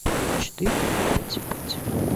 четыре пять пять